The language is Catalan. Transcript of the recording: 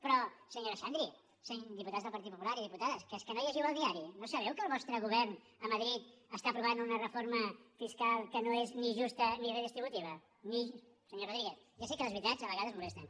però senyora xandri diputats del partit popular i diputades que és que no llegiu el diari no sabeu que el vostre govern a madrid està aprovant una reforma fiscal que no és ni justa ni redistributiva senyor rodríguez ja sé que les veritats a vegades molesten